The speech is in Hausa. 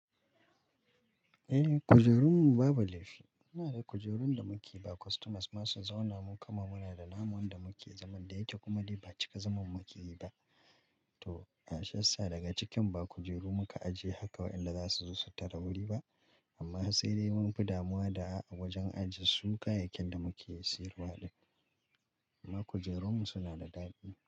Eh, kujerun mu babu laifi. Muna da kujerun da muke ba customers masu zauna, mu kuma muna da namun da muke zaman da yake kuma dai ba cika zaman mu ke yi ba. To, a shiyassaa daga cikin ba kujeru muka aje haka waɗanda za su zo su tare wuri ba. Amma harsai dai mun fi damuwa da a wajen ajiye su kayakin da muke siyarwa ne. Amma kujerunmu suna da dadi.